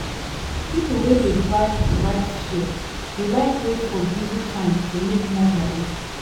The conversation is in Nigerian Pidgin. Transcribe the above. people wey dey drive rideshare dey like wait for busy time to make more money